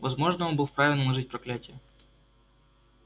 возможно он был вправе наложить проклятие